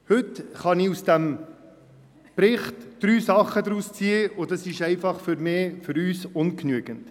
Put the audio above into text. Heute kann ich aus diesem Bericht drei Dinge herausziehen, und dies ist für uns einfach ungenügend.